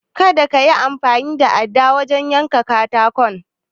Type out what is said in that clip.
Kada kayi amfani da adda wajen yanka katakon.